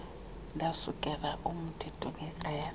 ndasukela oomthetho ngekrele